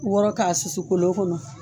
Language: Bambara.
wɔrɔ k'a susu kolon kɔnɔ.